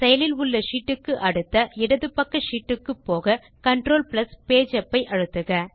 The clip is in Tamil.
செயலில் உள்ள ஷீட் க்கு அடுத்த இடது பக்க ஷீட் க்கு போகControl பேஜ் உப் ஐ அழுத்துக